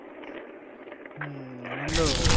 হম আনন্দ